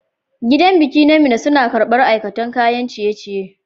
Gidan biki na mina suna karbar aikaton kayan ciye ciye